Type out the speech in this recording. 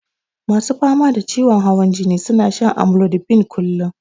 Masu fama da ciwon hawan jini suna shan amlodipine kullun.